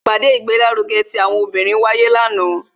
ipade igbelaruge ti àwọn obinrin wáyé lanaa,